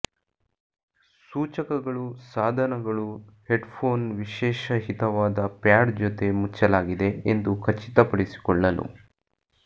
ಸೂಚಕಗಳು ಸಾಧನಗಳು ಹೆಡ್ಫೋನ್ ವಿಶೇಷ ಹಿತವಾದ ಪ್ಯಾಡ್ ಜೊತೆ ಮುಚ್ಚಲಾಗಿದೆ ಎಂದು ಖಚಿತಪಡಿಸಿಕೊಳ್ಳಲು